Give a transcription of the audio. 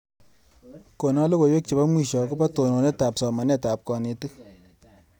Kona logoiwek chebo mwisho akobo tononetab somanetab kanetik.